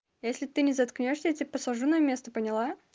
если ты не заткнёшься я тебя посажу на место поняла